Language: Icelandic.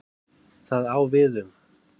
Það á við um